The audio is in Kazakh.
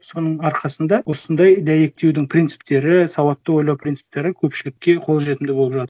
соның арқасында осындай дәйектеудің принциптері сауатты ойлау принциптері көпшілікке қолжетімді болып жатыр